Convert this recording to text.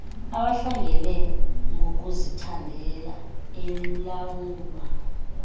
abahlangene ngokuzithandela elilawulwa